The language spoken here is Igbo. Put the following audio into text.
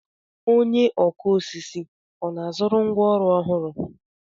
Onye ọkụ osisi ọ na-azụrụ ngwá ọrụ ọhụrụ?